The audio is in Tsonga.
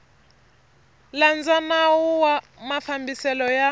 landza nawu wa mafambiselo ya